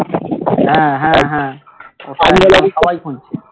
হ্যাঁ হ্যাঁ হ্যাঁ সবাই খুঁজছে